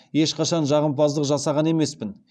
ешқашан жағымпаздық жасаған емеспін